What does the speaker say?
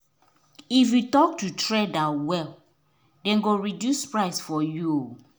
if you talk to trader well then go reduce price for you.